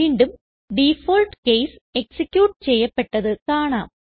വീണ്ടും default case execute ചെയ്യപ്പെട്ടത് കാണാം